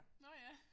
Nåh ja